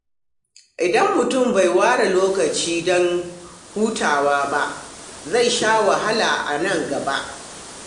Idan mutum bai ware lokaci don hutawa ba, zai sha wahala a nan gaba.